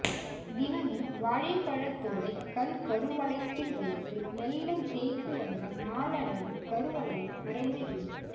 தினமும் வாழைப்பழத்தோலை கண் கருவளையத்தில் வைத்து மெல்ல தேய்த்து வந்தால் நாளடைவில் கருவளையம் மறைந்துவிடும்